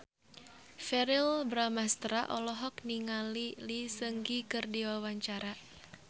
Verrell Bramastra olohok ningali Lee Seung Gi keur diwawancara